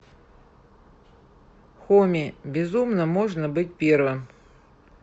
хоми безумно можно быть первым